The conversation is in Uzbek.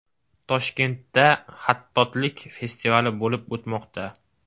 Toshkentda xattotlik festivali bo‘lib o‘tmoqda.